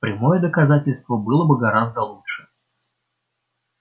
прямое доказательство было бы гораздо лучше